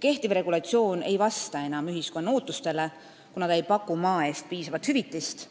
Kehtiv regulatsioon ei vasta enam ühiskonna ootustele, kuna ta ei paku maa eest piisavat hüvitist,